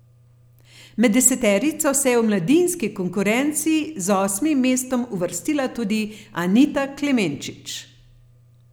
Med deseterico se je v mladinski konkurenci z osmim mestom uvrstila tudi Anita Klemenčič.